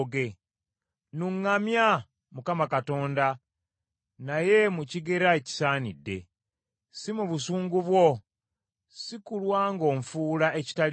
Nnuŋŋamya, Mukama Katonda naye mu kigera ekisaanidde, si mu busungu bwo, si kulwa ng’onfuula ekitaliimu.